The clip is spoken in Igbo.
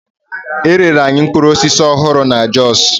E rere anyị mkpụrụ osisi ọhụrụ na Jos.